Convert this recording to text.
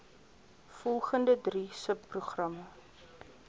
volgende drie subprogramme